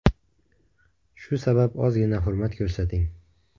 Shu sabab ozgina hurmat ko‘rsating.